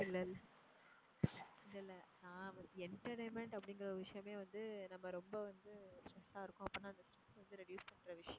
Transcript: இல்ல இல்ல, இல்ல இல்ல நான் entertainment அப்படிங்குற ஒரு விஷயமே வந்து நம்ம ரொம்ப வந்து stress ஆ இருக்கோம் அப்படின்னா அந்த stress அ reduce பண்ற விஷயம்.